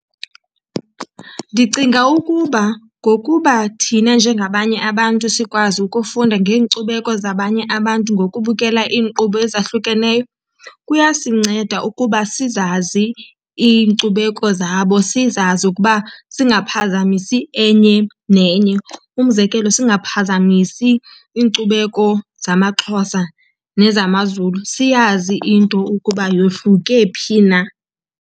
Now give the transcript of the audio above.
Ndicinga ukuba ngokuba thina njengabanye abantu sikwazi ukufunda ngeenkcubeko zabanye abantu ngokubukela iinkqubo ezahlukeneyo kuyasinceda ukuba sizazi iinkcubeko zabo, sizazi ukuba singaphazamisi enye nenye. Umzekelo, singaphazamisi iinkcubeko zamaXhosa nezamaZulu, siyazi into ukuba yohluke phi na.